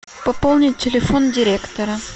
пополнить телефон директора